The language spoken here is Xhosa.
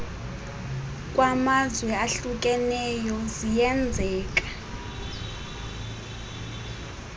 kwamazwe ahlukeneyo ziyenzeka